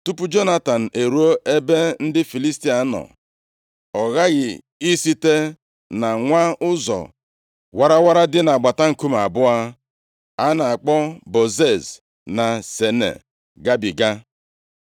Tupu Jonatan eruo ebe ndị Filistia nọ, ọ ghaghị isite na nwa ụzọ warawara dị nʼagbata nkume abụọ, a na-akpọ Bozez na Sene gabiga.